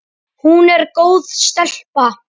Hún er góð stelpa.